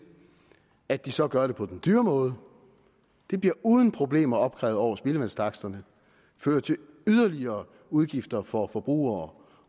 at de så gør det på den dyre måde det bliver uden problemer opkrævet over spildevandstaksterne og fører til yderligere udgifter for forbrugere